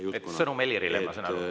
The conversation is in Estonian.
Ehk sõnum Helirile, ma saan aru.